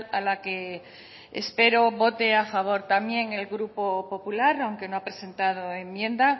a la que espero vote a favor también el grupo popular aunque no ha presentado enmienda